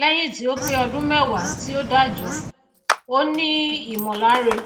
léyìn tí ó pé odún mewa tí ó dájo ó ní ìmòláre